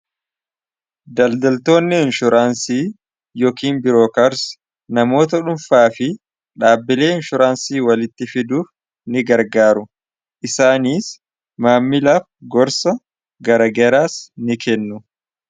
daldaltoonni inshoraansii yookiin biroo kars namoota dhunfaa fi dhaabbilee inshoraansii walitti fiduuf ni gargaaru isaaniis maammilaaf gorsa garagaraas ni kannu